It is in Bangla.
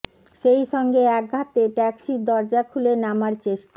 সেই সঙ্গে এক হাতে ট্যাক্সির দরজা খুলে নামার চেষ্টা